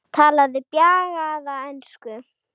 Talaði bjagaða ensku: